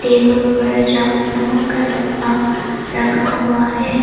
Table पर चक नमक का डब्बा रखा हुआ है।